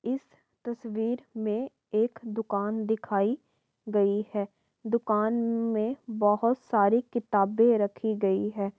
इस तस्वीर में एक दुकान दिखाई गई है। दुकान में बहुत सारी किताबें रखी गई हैं।